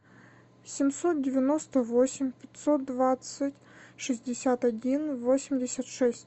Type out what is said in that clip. семьсот девяносто восемь пятьсот двадцать шестьдесят один восемьдесят шесть